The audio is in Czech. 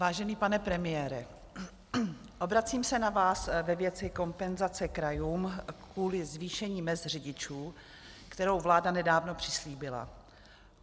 Vážený pane premiére, obracím se na vás ve věci kompenzace krajům kvůli zvýšení mezd řidičů, kterou vláda nedávno přislíbila.